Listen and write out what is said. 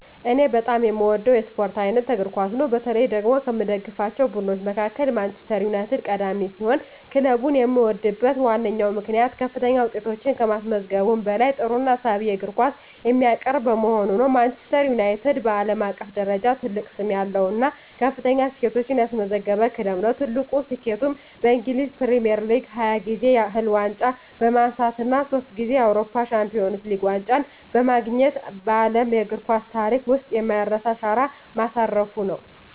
እኔ በጣም የምወደው የስፖርት አይነት እግር ኳስ ነው። በተለይ ደግሞ ከምደግፋቸው ቡድኖች መካከል ማንቸስተር ዩናይትድ ቀዳሚ ሲሆን፣ ክለቡን የምወድበት ዋነኛው ምክንያት ከፍተኛ ውጤቶችን ከማስመዝገቡም በላይ ጥሩና ሳቢ የእግር ኳስ የሚያቀርብ በመሆኑ ነው። ማንቸስተር ዩናይትድ (ማን ዩ) በዓለም አቀፍ ደረጃ ትልቅ ስም ያለው እና ከፍተኛ ስኬቶችን ያስመዘገበ ክለብ ነው። ትልቁ ስኬቱም በእንግሊዝ ፕሪሚየር ሊግ 20 ጊዜ ያህል ዋንጫ በማንሳት እና ሶስት ጊዜ የአውሮፓ ቻምፒየንስ ሊግ ዋንጫን በማግኘት በዓለም እግር ኳስ ታሪክ ውስጥ የማይረሳ አሻራ ማሳረፉ ነው።